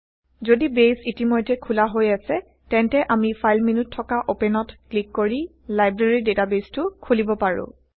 যদি বেইছ ইতিমধ্যে খোলা হৈ আছে তেন্তে আমি ফাইল মেন্যুত থকা অপেনত ক্লিক কৰি160 লাইব্ৰেৰী ডেটাবেইছটো160খোলিব160পাৰো